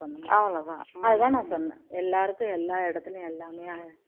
அவ்ளோ தான் அது தான் நான் சொன்னேன் எல்லாருக்கும் எல்லா இடத்துலயும் எல்லாமே அமையாது